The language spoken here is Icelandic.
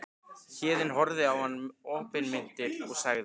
Héðinn horfði á hann opinmynntur og sagði